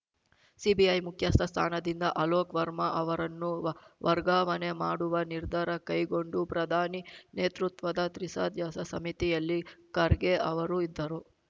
CBI ಮುಖ್ಯಸ್ಥ ಸ್ಥಾನದಿಂದ ಅಲೋಕ್‌ ವರ್ಮಾ ಅವರನ್ನುವ ವರ್ಗಾವಣೆ ಮಾಡುವ ನಿರ್ಧಾರ ಕೈಗೊಂಡು ಪ್ರಧಾನಿ ನೇತೃತ್ವದ ತ್ರಿಸದಸ್ಯ ಸಮಿತಿಯಲ್ಲಿ ಖರ್ಗೆ ಅವರೂ ಇದ್ದರು